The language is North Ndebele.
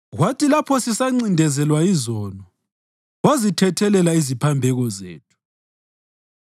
Kwathi lapho sisancindezelwa yizono, wazithethelela iziphambeko zethu.